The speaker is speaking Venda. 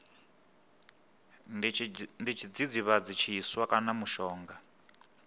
ndi tshidzidzivhadzi tshiswa kana mushonga